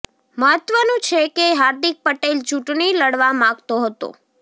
મહત્વનું છે કે હાર્દિક પટેલ ચૂંટણી લડવા માગતો હતો